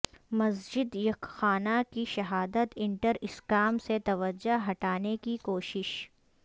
مسجد یکخانہ کی شہادت انٹر اسکام سے توجہ ہٹانے کی کوشش